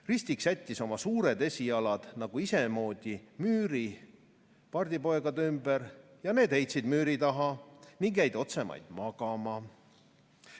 Ristik sättis oma suured esijalad nagu isemoodi müüri pardipoegade ümber ja need heitsid müüri taha ning jäid otsemaid magama.